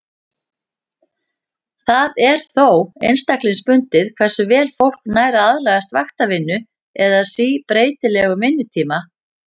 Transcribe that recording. Það er þó einstaklingsbundið hversu vel fólk nær að aðlagast vaktavinnu eða síbreytilegum vinnutíma.